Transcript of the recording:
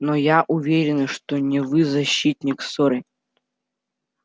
но я уверена что не вы зачинщик ссоры